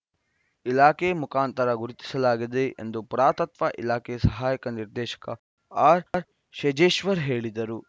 ಇಲಾಖೆ ಮುಖಾಂತರ ಗುರುತಿಸಲಾಗಿದೆ ಎಂದು ಪುರಾತತ್ವ ಇಲಾಖೆ ಸಹಾಯಕ ನಿರ್ದೇಶಕ ಆರ್‌ಶೇಜೇಶ್ವರ್‌ ಹೇಳಿದರು